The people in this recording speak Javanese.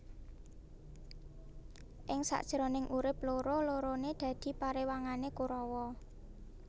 Ing sak jroning urip loro lorone dadi parewangane Korawa